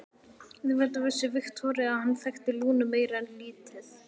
Auðvitað vissi Viktoría að hann þekkti Lúnu meira en lítið.